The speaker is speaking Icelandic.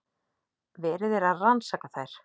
Verið er að rannsaka þær